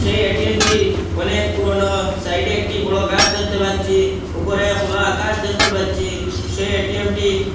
এই এটিএমটি অনেক পুরনো সাইডে একটি বড় কাজ দেখতে পাচ্ছি উপরে খোলা আকাশ দেখতে পাচ্ছি সেই এটিএমটি--